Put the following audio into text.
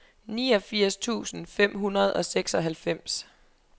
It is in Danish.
niogfirs tusind fem hundrede og seksoghalvfems